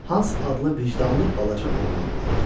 Hans adlı vicdanlı balaca oğlan vardı.